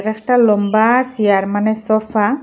একটা লম্বা চিয়ার মানে সোফা ।